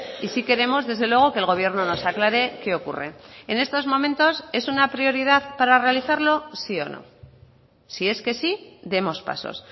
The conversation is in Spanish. y sí queremos desde luego que el gobierno nos aclare qué ocurre en estos momentos es una prioridad para realizarlo sí o no si es que sí demos pasos